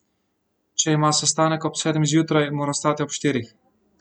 Če ima sestanek ob sedmih zjutraj, mora vstati ob štirih.